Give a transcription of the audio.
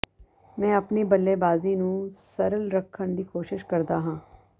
ਮੈਂ ਆਪਣੀ ਬੱਲੇਬਾਜ਼ੀ ਨੂੰ ਸਰਲ ਰੱਖਣ ਦੀ ਕੋਸ਼ਿਸ਼ ਕਰਦਾ ਹਾਂ